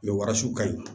warasɔn kaɲi